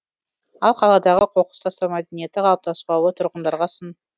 ал қаладағы қоқыс тастау мәдениеті қалыптаспауы тұрғындарға сын